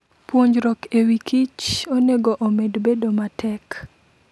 Puonjruok e wikich onego omed bedo matek.